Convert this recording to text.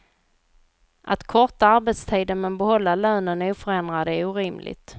Att korta arbetstiden men behålla lönen oförändrad är orimligt.